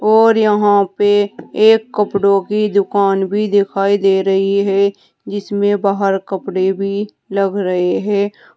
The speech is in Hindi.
और यहां पे एक कपड़ों की दुकान भी दिखाई दे रही है जिसमें बाहर कपड़े भी लग रहे हैं।